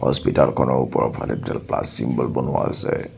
Hospital খনৰ ওপৰফালে দুডাল প্লাছ ছিম্বল বনোৱা আছে।